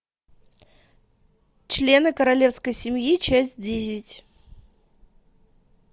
члены королевской семьи часть десять